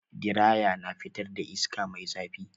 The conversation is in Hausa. Diraya na fitar da iska mai zafi.